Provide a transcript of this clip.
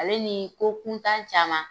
Ale ni ko kuntan caman.